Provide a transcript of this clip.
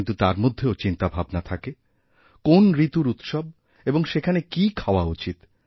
কিন্তু তার মধ্যেও চিন্তাভাবনা থাকে কোন্ ঋতুর উৎসব এবং সেখানে কী খাওয়া উচিত